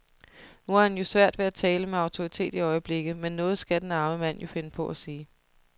Nu har han jo svært ved at tale med autoritet i øjeblikket, men noget skal den arme mand jo finde på at sige.